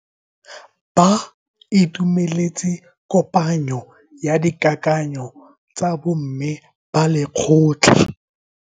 Ba itumeletse kopanyo ya dikakanyo tsa bo mme ba lekgotla.